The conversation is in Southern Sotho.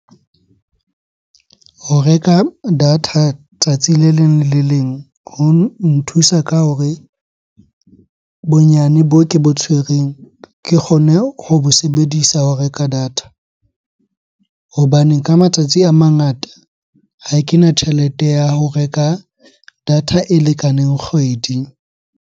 Ho reka data tsatsi le leng le le leng ho o nthusa ka hore bonyane boo ke bo tshwereng, ke kgone ho bo sebedisa ho reka data. Hobane ka matsatsi a mangata ha kena tjhelete ya ho reka data e lekaneng kgwedi.